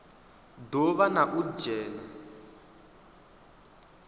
do vha na u dzhena